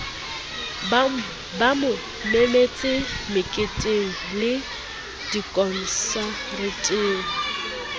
ba mo memetse meketengle dikonsareteng